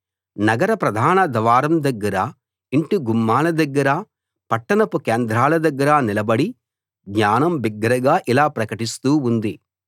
నగర ప్రధాన ద్వారం దగ్గర ఇంటి గుమ్మాల దగ్గర పట్టణపు కేంద్రాల దగ్గర నిలబడి జ్ఞానం బిగ్గరగా ఇలా ప్రకటిస్తూ ఉంది